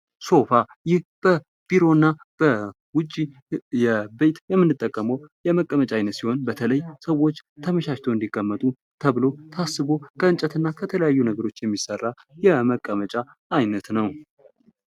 ሶፋይህ በቢሮና በውጪ ቤት የምንጠቀመው የመቀመጫ አይነት ሲሆን ሰዎች ተመቻችቶ እንዲቀመጡ ተብሎ ታስቦ ከእንጨት እና ከተለያዩ ነገሮች የሚሰራ የመቀመጫ አይነት ነው።